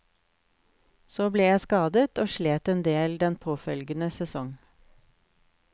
Så ble jeg skadet, og slet en del den påfølgende sesong.